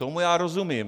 Tomu já rozumím.